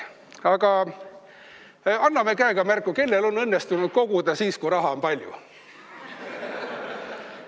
Aga anname käega märku, kellel on õnnestunud koguda siis, kui raha on palju!